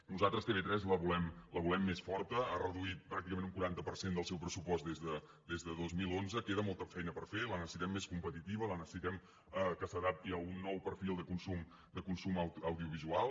nosaltres tv3 la volem més forta ha reduït pràcticament un quaranta per cent del seu pressupost des del dos mil onze queda molta feina per fer la necessitem més competitiva la necessitem que s’adapti a un nou perfil de consum audiovisual